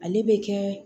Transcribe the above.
Ale bɛ kɛ